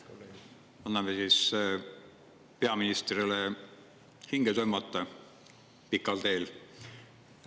Anname siis peaministrile hinge tõmmata pikal teel.